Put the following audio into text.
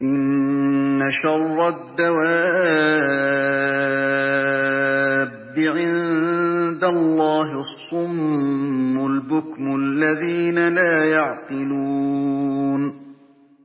۞ إِنَّ شَرَّ الدَّوَابِّ عِندَ اللَّهِ الصُّمُّ الْبُكْمُ الَّذِينَ لَا يَعْقِلُونَ